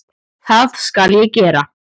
Það skal ég gera